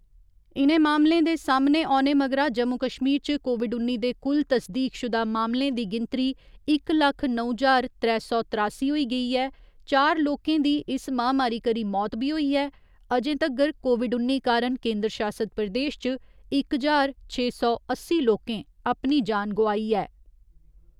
इ'नें मामले दे सामने औने मगरा जम्मू कश्मीर च कोविड उन्नी दे कुल तस्दीकशुदा मामले दी गिनतरी इक लक्ख नौ ज्हार त्रै सौ तरासी होई गेई ऐ, चार लोकें दी इस महामारी करी मौत बी होई ऐ अजें तगर कोविड उन्नी कारण केन्दर शासित प्रदेश च इक ज्हार छे सौ अस्सी लोकें अपनी जान गोआई ऐ।